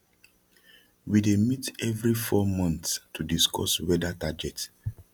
we dey meet every four months to discuss weather target